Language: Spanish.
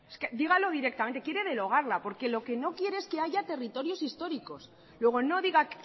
dígalo directamente quiere derogarla porque lo que no quiere es que haya territorios históricos luego no diga